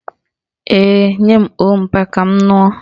Ee, nye m ọ́ọ̀ mpa ka m ṅụọ